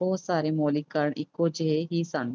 ਬਹੁਤ ਸਾਰੇ ਮੌਲਿਕ ਕਾਰਨ ਇੱਕੋ ਜਿਹੇ ਹੀ ਸਨ।